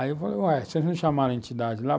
Aí eu falei, ué, vocês não chamaram a entidade lá?